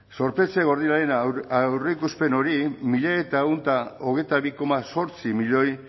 zorpetze gordinaren aurreikuspen hori mila eta ehun ta hogeita bi koma zortzi milioi